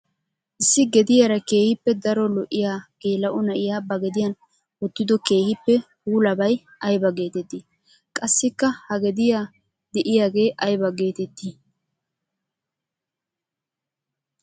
Issi gediyaara keehippe daro lo'iya geela'o na'iya ba gediyan wottiddo keehippe puullabay aybba geetetti? Qassikka ha gediya de'ayeege aybba geetetti?